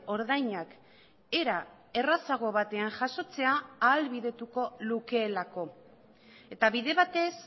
ordainak era errazago batean jasotzea ahalbidetuko lukeelako eta bide batez